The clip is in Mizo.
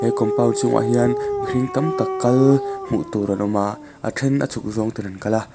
compound chhungah hian mihring tam tak kal hmuh tur an awma a a then a chhuk zawng ten an kal a.